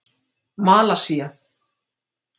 Malasía